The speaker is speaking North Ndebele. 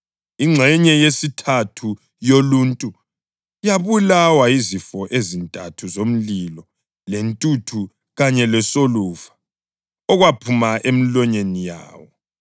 Ingxenye yesithathu yoluntu yabulawa yizifo ezintathu zomlilo lentuthu kanye lesolufa okwaphuma emilonyeni yawo.